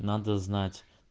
надо знать